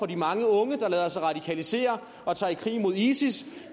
de mange unge der lader sig radikalisere og tager i krig mod isis